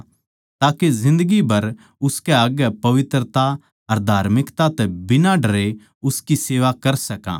अर जिन्दगी भर उसकै आग्ये पवित्रता अर धार्मिकता तै बिना डरें उसकी सेवा कर सकां